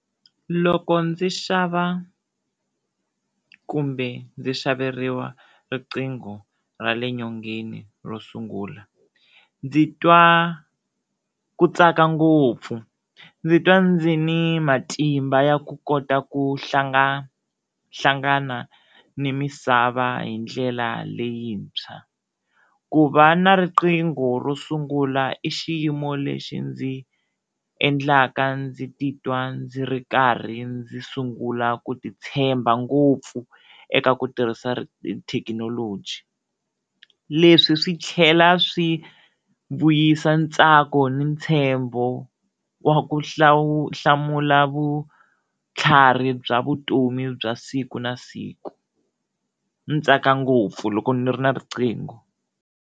Loko ndzi xava kumbe ndzi xaveriwa riqingho ra le nyongeni ro sungula ndzi twa ku tsaka ngopfu, ndzi twa ndzi ni matimba ya ku kota ku hlangana ni misava hi ndlela leyintshwa ku va na riqingho ro sungula i xiyimo lexi ndzi endlaka ndzi titwa ndzi ri karhi ndzi sungula ku ti tshemba ngopfu eka ku tirhisa ri thekinoloji leswi swi tlhela swi vuyisa ntsako ni ntshembo wa ku hlamula vutlhari bya vutomi bya siku na siku, ni tsaka ngopfu loko ni ri na riqhingo.